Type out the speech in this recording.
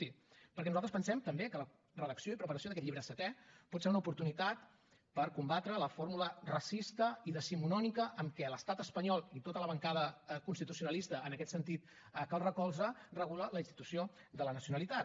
sí perquè nosaltres pensem també que la redacció i preparació d’aquest llibre setè pot ser una oportunitat per combatre la fórmula racista i decimonònica amb què l’estat espanyol i tota la bancada constitucionalista en aquest sentit que el recolza regula la institució de la nacionalitat